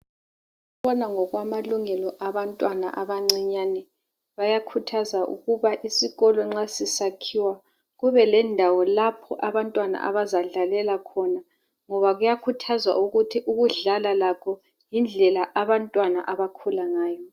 Ababona ngokwamalungelo abantwana abancinyane bayakhuthaza ukuba isikolo nxa sisakhiwa kube lendawo lapho abantwana abazadlalela khona ngoba kuyakhuthazwa ukuthi ukudlala lakho yindlela abantwana abakhula ngayo.